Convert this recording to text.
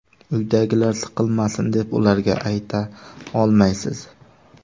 Uydagilar siqilmasin, deb ularga ayta olmaysiz.